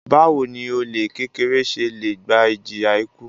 Báwo ni olè kékeré se le gba ìjìyà ikú?